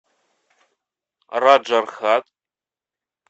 раджархат